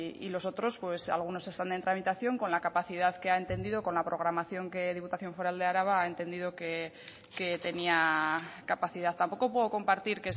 y los otros algunos están en tramitación con la capacidad que ha entendido con la programación que la diputación foral de araba ha entendido que tenía capacidad tampoco puedo compartir